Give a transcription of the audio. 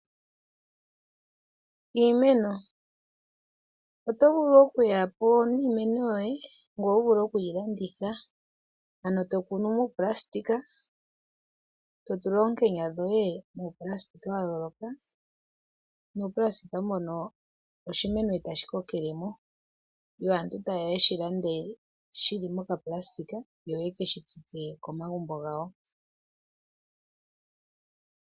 Iimeno Oto vulu oku ya po niimeno yoye ngoye wu vule oku yi landitha. Ano to kunu muunailona, to tula oonkenya dhoye muunailona wa yooloka, nuunailona mbono oshimeno e tashi kokele mo, yo aantu taye ya yeshi lande shili mo nailona yo yeke shi tsike komagumbo gawo.